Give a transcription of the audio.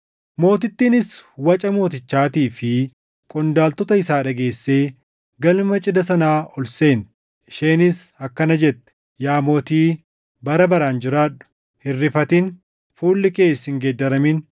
Mootittiinis waca mootichaatii fi qondaaltota isaa dhageessee galma cidha sanaa ol seente. Isheenis akkana jette; “Yaa mootii, bara baraan jiraadhu! Hin rifatin; fuulli kees hin geeddaramin!